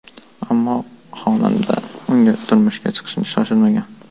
Ammo xonanda unga turmushga chiqishga shoshilmagan.